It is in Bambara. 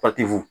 Patu